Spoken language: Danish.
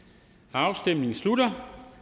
afstemningen slutter